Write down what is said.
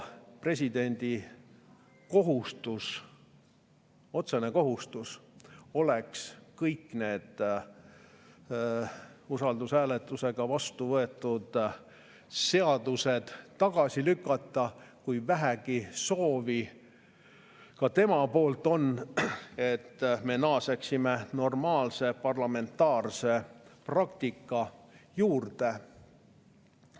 Presidendi otsene kohustus oleks kõik need usaldushääletusega vastuvõetud seadused tagasi lükata, kui ka temal on vähegi soovi, et me naaseksime normaalse parlamentaarse praktika juurde.